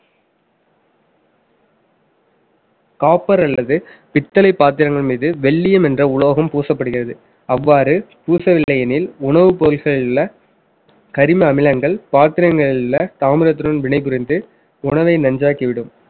copper அல்லது பித்தளைப் பாத்திரங்கள் மீது வெள்ளியம் என்ற உலோகம் பூசப்படுகிறது அவ்வாறு பூசவில்லை எனில் உணவுப் பொருட்களில் உள்ள கரிம அமிலங்கள் பாத்திரங்களில் உள்ள தாமிரத்துடன் வினைபுரிந்து உணவை நஞ்சாக்கி விடும்